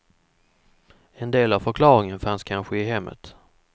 En del av förklaringen fanns kanske i hemmet.